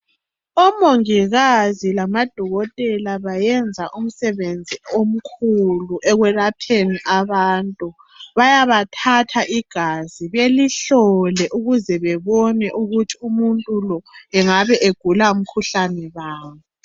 Omongikazi lama dokotela bayenza umsebenzi omkhulu ekwelapheni abantu. Bayabathatha igazi belihlole ukuze bebone ukuthi umuntu lo engabe egula mkhuhlane bani.